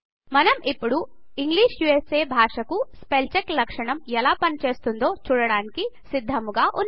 మనం ఇప్పుడు English USA భాషా కు స్పెల్ చెక్ లక్షణం ఎలా పని చేస్తుందో చూడడానికి సిద్దముగా వున్నాం